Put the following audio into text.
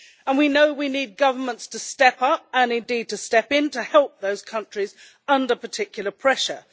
We know that we need governments to step up, and indeed to step in, to help those countries under particular pressure.